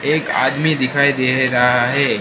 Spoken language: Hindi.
एक आदमी दिखाई दे रहा है।